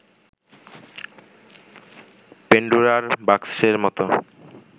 পেন্ডোরার বাক্সের মতো